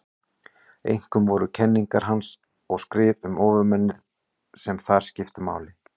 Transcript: Einkum voru það kenningar hans og skrif um ofurmennið sem þar skiptu máli.